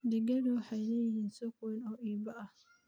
Digaagga waxay leeyihiin suuq weyn oo iib ah.